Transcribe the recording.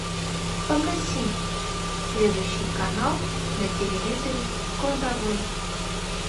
погаси следующий канал на телевизоре в кладовой